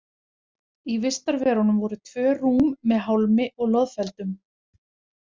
Í vistarverunum voru tvö rúm með hálmi og loðfeldum.